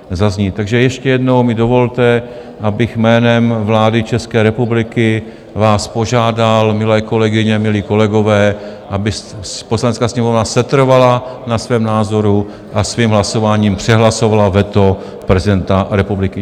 Takže ještě jednou mi dovolte, abych jménem vlády České republiky vás požádal, milé kolegyně, milí kolegové, aby Poslanecká sněmovna setrvala na svém názoru a svým hlasováním přehlasovala veto prezidenta republiky.